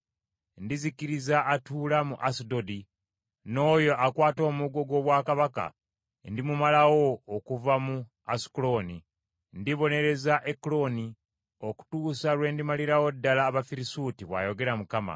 Ndizikiriza atuula mu Asudodi, n’oyo akwata omuggo gw’obwakabaka ndimumalawo okuva mu Asukulooni. Ndibonereza Ekuloni okutuusa lwe ndimalirawo ddala Abafirisuuti,” bw’ayogera Mukama .